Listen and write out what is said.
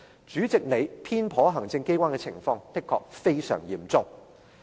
主席，你偏頗行政機關的情況，的確非常嚴重。